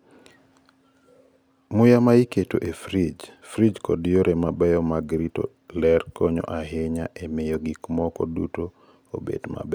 Muya ma iketo e frij, frij kod yore mabeyo mag rito ler konyo ahinya e miyo gik moko duto obed maber.